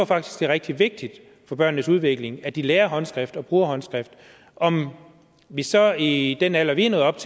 faktisk det er rigtig vigtigt for børnenes udvikling at de lærer håndskrift og bruger håndskrift om vi så i den alder vi er nået op